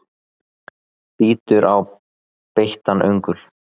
Bítur á beittan öngul.